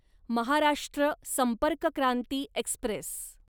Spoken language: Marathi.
महाराष्ट्र संपर्क क्रांती एक्स्प्रेस